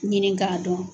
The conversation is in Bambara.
Ɲini k'a dɔn